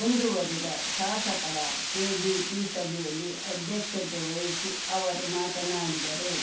ಮುಂದುವರೆದ ಶಾಸಕರ ಕೆಡಿಪಿ ಸಭೆಯಲ್ಲಿ ಅಧ್ಯಕ್ಷತೆ ವಹಿಸಿ ಅವರು ಮಾತನಾಡಿದರು